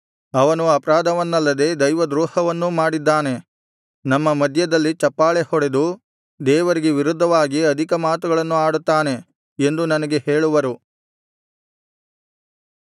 ಅವನು ಅಪರಾಧವನ್ನಲ್ಲದೆ ದೈವದ್ರೋಹವನ್ನೂ ಮಾಡಿದ್ದಾನೆ ನಮ್ಮ ಮಧ್ಯದಲ್ಲಿ ಚಪ್ಪಾಳೆಹೊಡೆದು ದೇವರಿಗೆ ವಿರುದ್ಧವಾಗಿ ಅಧಿಕ ಮಾತುಗಳನ್ನು ಆಡುತ್ತಾನೆ ಎಂದು ನನಗೆ ಹೇಳುವರು